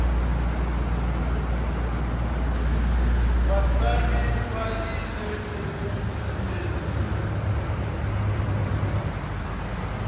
vatlangi va yile eku wiseni